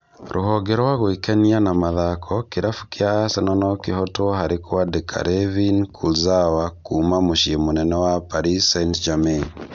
Rũhonge rwa gwĩkenia na mathako Kĩrabu kĩa Arsenal nokĩhotwo harĩ kwandĩka Layvin Kurzawa kuma mũcĩĩ mũnene wa Paris St-Germain